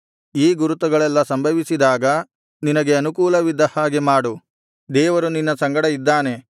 ಈ ಗುರುತುಗಳೆಲ್ಲಾ ಸಂಭವಿಸಿದಾಗ ನಿನಗೆ ಅನುಕೂಲವಿದ್ದ ಹಾಗೆ ಮಾಡು ದೇವರು ನಿನ್ನ ಸಂಗಡ ಇದ್ದಾನೆ